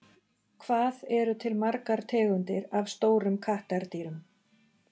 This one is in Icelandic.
Hvað eru til margar tegundir af stórum kattardýrum?